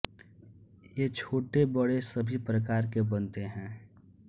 ये छोटे बड़े सभी प्रकार के बनते हैं